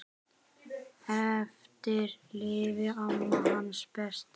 Eftir lifir amma, hans besta.